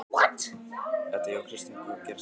Edda: Já, Kristján, hvað gerist næst?